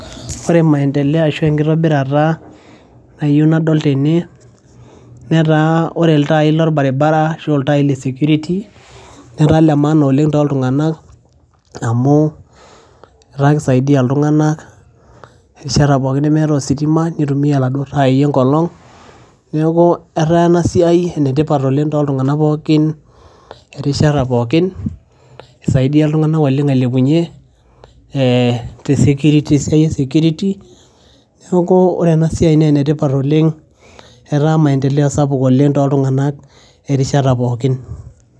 Ore maendeleo ashu enkitobirata nayeu nadol tene netaa ore iltai lolbaribara ashu a iltai le security netaa le maana oleng' toltung'anak amu etaa kisaidia iltung'anak erishata pookin nemeeta ositima nitumia iladuo tai le nkolong'. Neeku etaa ena siai ene tipat oleng' tooltung'anak pookin erishata pookin, isaidia iltung'anak oleng' ailepunye ee te siai e security. Neeku ore ena siai naa ene tipat oleng' etaa maendeleo sapuk oleng' tooltung'anak erishata pookin.